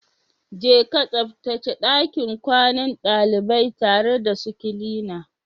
Je ka tsabtace ɗakin kwanan daliban tare da su kilina